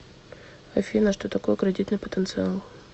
афина что такое кредитный потенциал